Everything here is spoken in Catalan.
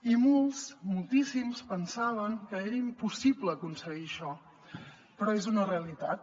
i molts moltíssims pensaven que era impossible aconseguir això però és una realitat